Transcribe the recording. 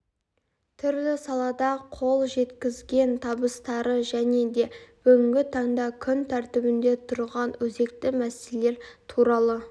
түрлі салада қол жеткізген табыстары және де бүгінгі таңда күн тәртібінде тұрған өзекті мәселелер туралы